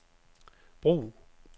brug